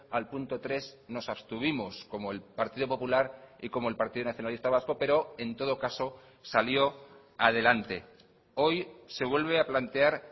al punto tres nos abstuvimos como el partido popular y como el partido nacionalista vasco pero en todo caso salió adelante hoy se vuelve a plantear